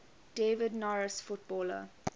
david norris footballer